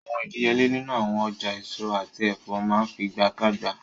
Awọn idiyele ninu awọn ọja eso ati ẹfọ maa nfigagbaga